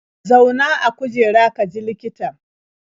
Zauna a kujera ka jira likitan.